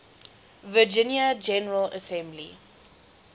virginia general assembly